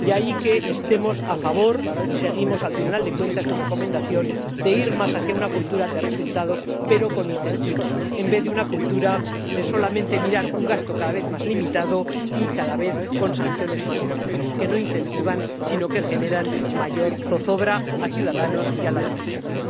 De ahí que estemos a favor y sigamos al Tribunal de Cuentas en su recomendación de ir más hacia una cultura de resultados, pero con incentivos, en vez de hacia una cultura de mirar solamente un gasto cada vez más limitado y cada vez con sanciones más fuertes que no incentivan, sino que generan mayor zozobra a los ciudadanos y a la administración.